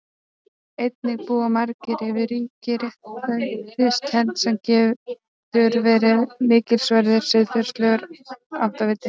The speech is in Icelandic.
Einnig búa margir yfir ríkri réttlætiskennd sem getur verið mikilsverður siðferðilegur áttaviti.